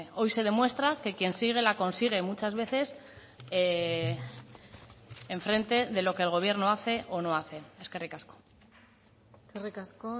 hoy se demuestra que quien sigue la consigue muchas veces enfrente de lo que el gobierno hace o no hace eskerrik asko eskerrik asko